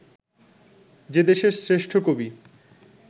যে দেশের শ্রেষ্ঠ কবি